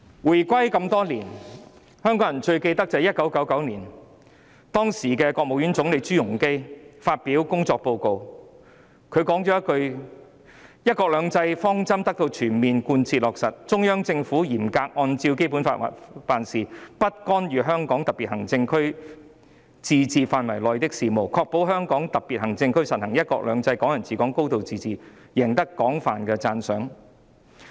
回歸這麼多年，香港人最記得的是1999年，時任國務院總理朱鎔基發表工作報告，他說："'一國兩制'方針得到全面貫徹落實，中央政府嚴格按照《基本法》辦事，不干預香港特別行政區自治範圍內的事務，確保香港特別行政區實行'一國兩制'、'港人自治'、'高度自治'，贏得廣泛的讚賞。